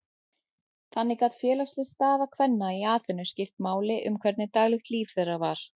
Þannig gat félagsleg staða kvenna í Aþenu skipt máli um hvernig daglegt líf þeirra var.